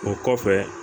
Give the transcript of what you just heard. O kɔfɛ